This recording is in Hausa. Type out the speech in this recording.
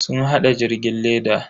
Sun hada jirgin leda.